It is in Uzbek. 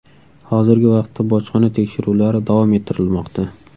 Hozirgi vaqtda bojxona tekshiruvlari davom ettirilmoqda.